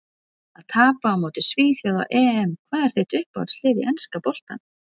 Að tapa á móti svíþjóð á EM Hvað er þitt uppáhaldslið í enska boltanum?